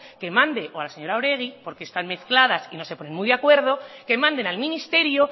que mande o a la señora oregi porque están mezcladas y no se ponen muy de acuerdo que manden al ministerio